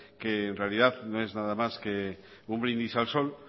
que en realidad no es nada más que un brindis al sol